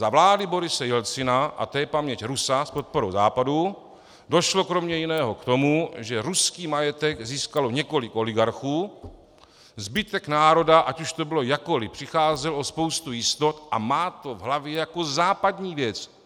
Za vlády Borise Jelcina, a to je paměť Rusa, s podporou Západu došlo kromě jiného k tomu, že ruský majetek získalo několik oligarchů, zbytek národa, ať už to bylo jakkoliv, přicházel o spoustu jistot a má to v hlavě jako západní věc.